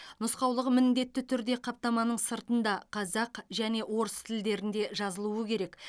нұсқаулығы міндетті түрде қаптаманың сыртында қазақ және орыс тілдерінде жазылуы керек